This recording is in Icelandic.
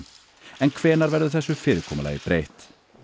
en hvenær verður þessu fyrirkomulagi breytt